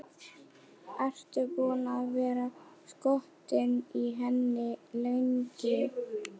Ertu búinn að vera skotinn í henni lengi?